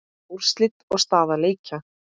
Úrslit og staða leikja